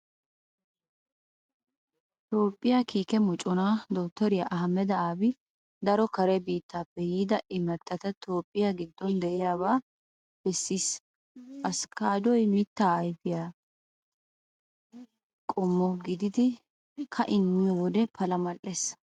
Toophphiyaa kiike moconaa dottoriyaa Ahimada Abi daro kare biittaappe yiida imattata toophphiyaa giddon de'iyaabata bessiis. Askkaaddoy miittan ayfiyaa ayfee qommo gididi ka'in miyo wode pala mal'ees.